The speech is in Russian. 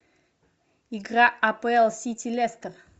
игра апл сити лестер